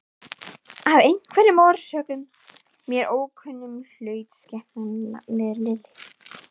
Af einhverjum orsökum, mér ókunnum, hlaut skepnan nafnið Lilli.